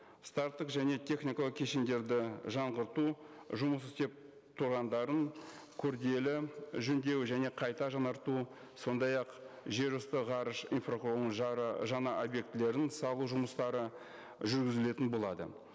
старттық және техникалық кешендерді жаңғырту жұмыс істеп тұрғандарын күрделі жөндеу және қайта жаңарту сондай ақ жер үсті ғарыш инфрақұрылымының жаңа объектілерін салу жұмыстары жүргізілетін болады